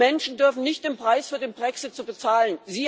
Die Menschen dürfen nicht den Preis für den Brexit bezahlen.